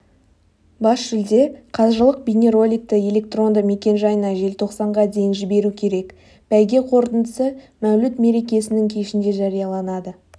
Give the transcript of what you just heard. бас жүлде қажылық бейнероликті электронды мекен-жайына желтоқсанға дейін жіберу керек бәйге қорытындысы мәуліт мерекесінің кешінде жарияланады